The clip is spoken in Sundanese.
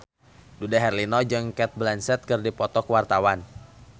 Dude Herlino jeung Cate Blanchett keur dipoto ku wartawan